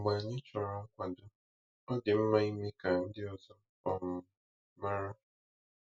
Mgbe anyị chọrọ nkwado, ọ dị mma ime ka ndị ọzọ um mara.